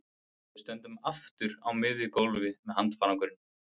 Við stöndum aftur á miðju gólfi með handfarangur.